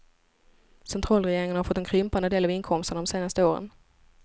Centralregeringen har fått en krympande del av inkomsterna de senaste åren.